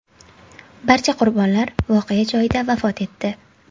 Barcha qurbonlar voqea joyida vafot etdi.